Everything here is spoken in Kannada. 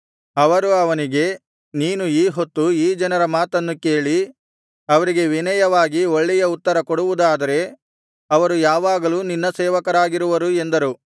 ಅವರು ಅವನಿಗೆ ನೀನು ಈ ಹೊತ್ತು ಈ ಜನರ ಮಾತನ್ನು ಕೇಳಿ ಅವರಿಗೆ ವಿನಯವಾಗಿ ಒಳ್ಳೆಯ ಉತ್ತರ ಕೊಡುವುದಾದರೆ ಅವರು ಯಾವಾಗಲೂ ನಿನ್ನ ಸೇವಕರಾಗಿರುವರು ಎಂದರು